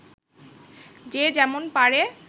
যে যেমন পারে